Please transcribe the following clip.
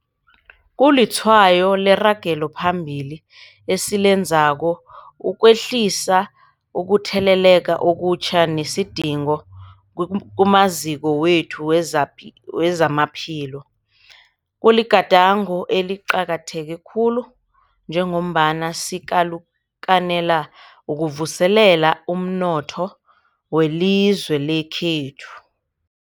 Kulitshwayo leragelo phambili esilenzako ekwehliseni ukutheleleka okutjha nesidingo kumaziko wethu wezamaphilo. Kuligadango eliqakatheke khulu njengombana sikalukanela ukuvuselela umnotho welizwe lekhethu.